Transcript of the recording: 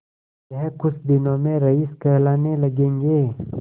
यह कुछ दिनों में रईस कहलाने लगेंगे